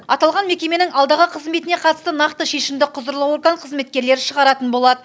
аталған мекеменің алдағы қызметіне қатысты нақты шешімді құзырлы орган қызметкерлері шығаратын болады